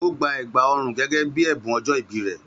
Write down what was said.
Ó gbà ègbà ọrùn gẹ́gẹ́ bí ẹ̀bùn ọjọ́ ìbí rẹ̀.